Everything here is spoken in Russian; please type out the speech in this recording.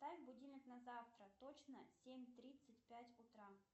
поставь будильник на завтра точно семь тридцать пять утра